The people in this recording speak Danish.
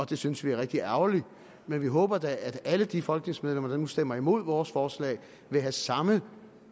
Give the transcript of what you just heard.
det synes vi er rigtig ærgerligt men vi håber da at alle de folketingsmedlemmer der nu stemmer imod vores forslag vil have samme